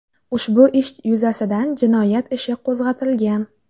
Ushbu ish yuzasidan jinoyat ishi qo‘zg‘atilgan.